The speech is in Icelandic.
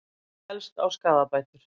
Fellst á skaðabætur